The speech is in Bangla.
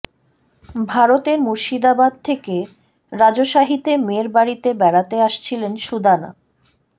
ভারতের মুর্শিদাবাদ থেকে রাজশাহীতে মেয়ের বাড়িতে বেড়াতে আসছিলেন সুদানা